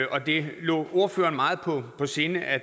og det lå ordføreren meget på sinde at